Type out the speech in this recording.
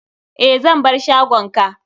Eh, zan bar shagon ka.